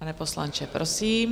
Pane poslanče, prosím.